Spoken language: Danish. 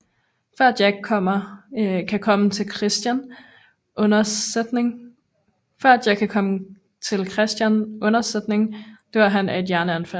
Før Jack kan komme til Christian undsætning dør han af et hjerteanfald